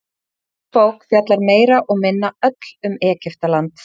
Önnur bók fjallar meira og minna öll um Egyptaland.